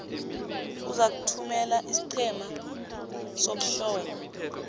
uzakuthumela isiqhema sokuhlola